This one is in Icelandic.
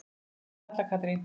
Dóttir þeirra er Halla Katrín.